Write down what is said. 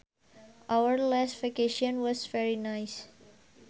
Our last vacation was very nice